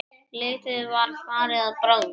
Lítið var farið að bráðna.